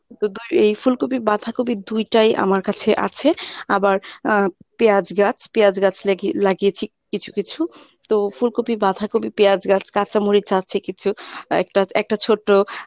এই ফুলকপি বাঁধাকপি দুইটাই আমার কাছে আছে আবার আহ পেঁয়াজ গাছ পেঁয়াজ গাছ লেখি~ লাগিয়েছি কিছু কিছু তো ফুলকপি, বাঁধাকপি, পেঁয়াজ গা, কাঁচামরিচ আছে কিছু একটা একটা ছোট